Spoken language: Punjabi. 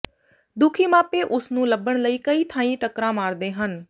ਦੁਖੀ ਮਾਪੇ ਉਸਨੂੰ ਲੱਭਣ ਲਈ ਕਈ ਥਾਈਂ ਟੱਕਰਾਂ ਮਾਰਦੇ ਹਨ